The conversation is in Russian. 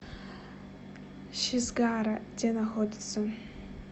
шизгара где находится